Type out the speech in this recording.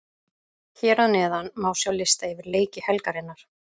Hér að neðan má sjá lista yfir leiki helgarinnar.